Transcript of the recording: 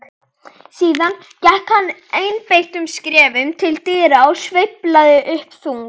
Síðan gekk hann einbeittum skrefum til dyra, sveiflaði upp þung